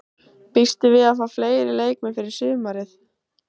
Býstu við að fá fleiri leikmenn fyrir sumarið?